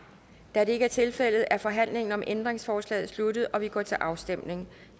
da det ikke er tilfældet er forhandlingen om ændringsforslaget sluttet og vi går til afstemning